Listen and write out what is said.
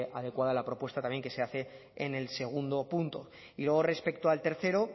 adecuada la propuesta también que se hace en el segundo punto y luego respecto al tercero